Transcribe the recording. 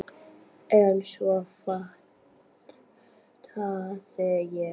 En svo fattaði ég.